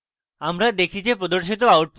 আমরা দেখি যে প্রদর্শিত output হল: